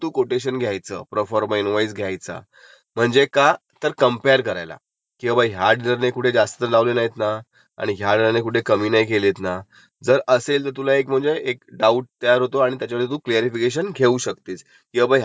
की बाबा ह्याचा इन्शुरन्स एवढा आहे, तुझा इन्शुरन्स एवढा का? मग तो तुला त्याचं जस्टिफिकेशन देईल. नंतर ह्याचा आरटीओ टॅक्स एवढा आहे, तुझा आरटीओ टॅक्स एवढा का? ह्या गोष्टीचा ताळमेळ बसेल मग पुढे जायचय. हे सगळं मिळून जे